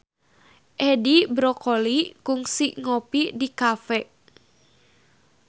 Edi Brokoli kungsi ngopi di cafe